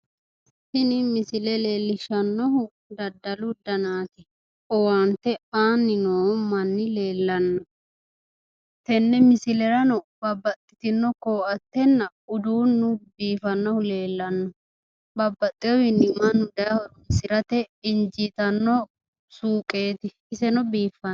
Tini misile leellishshaahu daddalu danaati. Owaante aanni noo manni leellanno. Tenne misilerano babbaxxitino koattenna uduunnu biifannohu leellanno. Babbaxxiwowi mannu daye horoonsirate injiitanno suuqeeti. Iseno biiffanno.